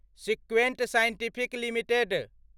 सिक्वेन्ट scientific limited